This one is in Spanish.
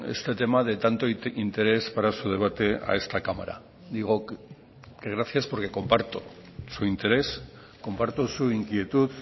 este tema de tanto interés para su debate a esta cámara digo gracias porque comparto su interés comparto su inquietud